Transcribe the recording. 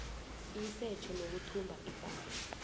isetjho nokuthumba ipahla